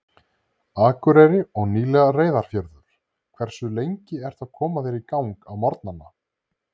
Akureyri og nýlega Reyðarfjörður Hversu lengi ertu að koma þér í gang á morgnanna?